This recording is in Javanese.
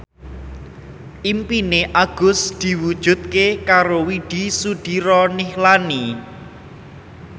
impine Agus diwujudke karo Widy Soediro Nichlany